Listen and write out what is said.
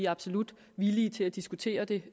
absolut villige til at diskutere det